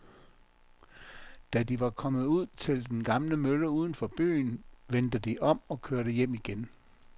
Da de var kommet ud til den gamle mølle uden for byen, vendte de om og kørte hjem igen.